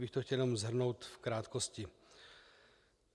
Kdybych to chtěl jenom shrnout v krátkosti.